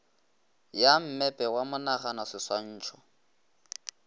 ya mmepe wa monagano seswantšho